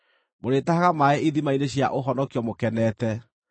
Mũrĩtahaga maaĩ ithima-inĩ cia ũhonokio mũkenete.